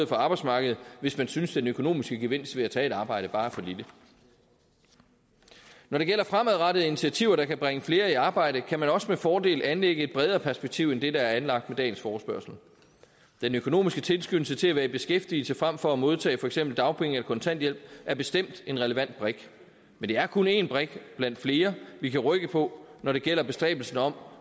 for arbejdsmarkedet hvis man synes at den økonomiske gevinst ved at tage et arbejde bare er for lille når det gælder fremadrettede initiativer der kan bringe flere i arbejde kan man også med fordel anlægge et bredere perspektiv end det der er anlagt med dagens forespørgsel den økonomiske tilskyndelse til at være i beskæftigelse frem for at modtage for eksempel dagpenge eller kontanthjælp er bestemt en relevant brik men det er kun en brik blandt flere vi kan rykke på når det gælder bestræbelsen om